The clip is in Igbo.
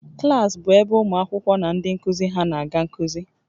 Klas bụ ebe ụmụ akwụkwọ na ndị nkuzi ha na-aga nkuzi